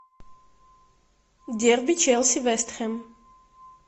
дерби челси вест хэм